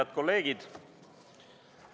Head kolleegid!